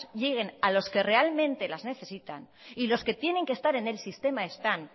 lleguen a los que realmente las necesitan y los que tienen que estar en el sistema están